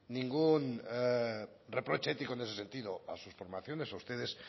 ningún reproche ético en ese sentido a sus formaciones a ustedes